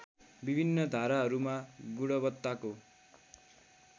विभिन्न धाराहरूमा गुणवत्ताको